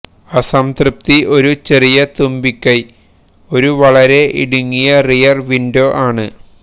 അസംതൃപ്തി ഒരു ചെറിയ തുമ്പിക്കൈ ഒരു വളരെ ഇടുങ്ങിയ റിയർ വിൻഡോ ആണ്